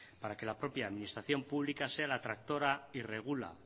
para que la propia administración pública sea la tractora y regula